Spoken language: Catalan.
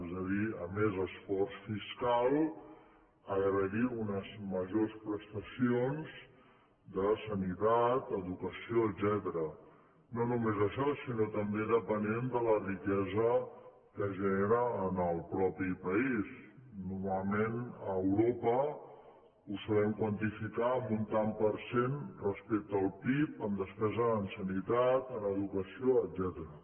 és a dir a més esforç fiscal ha d’haver hi unes majors prestacions de sanitat educació etcètera no només això sinó també depenent de la riquesa que genera en el mateix país normalment a europa ho saben quantificar amb un tant per cent respecte al pib en despesa en sanitat en educació etcètera